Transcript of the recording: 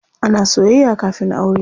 Ana soyayya kafin aure.